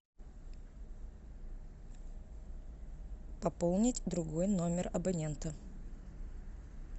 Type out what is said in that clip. пополнить другой номер абонента